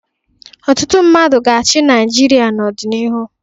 Ọtụtụ mmadụ ga-achị Naịjirịa n'ọdịnihu.